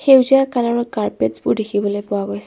সেউজীয়া কালাৰত কাৰ্পেটচবোৰ দেখিবলৈ পোৱা গৈছে।